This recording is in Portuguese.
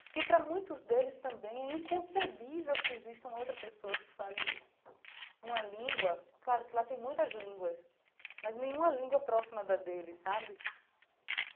Porque para muitos deles também é inconcebível que exista uma outra pessoa que fale uma língua, claro que lá tem muitas línguas, mas nenhuma língua próxima da dele, sabe?